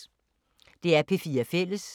DR P4 Fælles